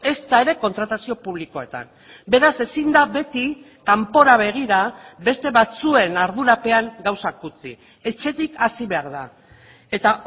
ezta ere kontratazio publikoetan beraz ezin da beti kanpora begira beste batzuen ardurapean gauzak utzi etxetik hasi behar da eta